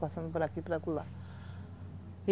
Passando por aqui,